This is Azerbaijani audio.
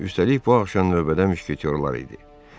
Üstəlik, bu axşam növbədə müşketorlar idi.